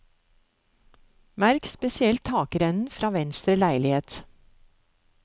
Merk spesielt takrennen fra venstre leilighet.